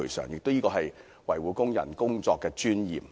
有關規定是維護工人工作的尊嚴。